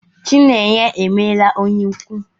Chinenye emela onye ikwu.